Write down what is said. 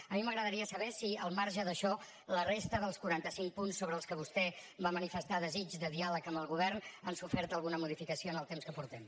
a mi m’agradaria saber si al marge d’això la resta dels quaranta cinc punts sobre els que vostè va manifestar desig de diàleg amb el govern han sofert alguna modificació en el temps que portem